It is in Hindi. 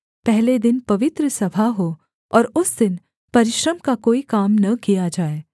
पहले दिन पवित्र सभा हो और उस दिन परिश्रम का कोई काम न किया जाए